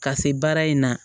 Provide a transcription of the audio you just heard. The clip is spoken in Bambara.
Ka se baara in na